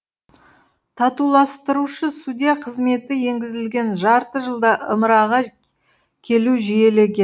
татуластырушы судья қызметі енгізілген жарты жылда ымыраға келу жиілеген